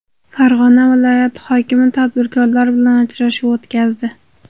Farg‘ona viloyati hokimi tadbirkorlar bilan uchrashuv o‘tkazdi.